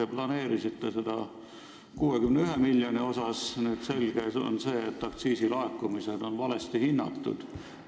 Te planeerisite seda 61 miljonit, nüüd on aga selge, et aktsiisilaekumised on valesti hinnatud.